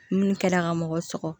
Minnu kɛra ka mɔgɔ sɔgɔ